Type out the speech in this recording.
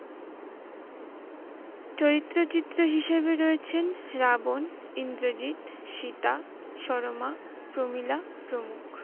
চরিত্রের চিত্র হিসেবে রয়েছেন রাবণ, ইন্দ্রজিৎ, সীতা, সরমা, প্রমীলা প্রমুখ।